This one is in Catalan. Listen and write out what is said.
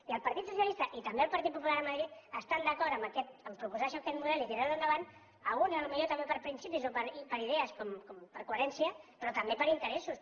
i el partit socialista i també el partit popular a madrid estan d’acord a proposar això aquest model i tirar lo endavant alguns potser també per principis o per idees per coherència però també per interessos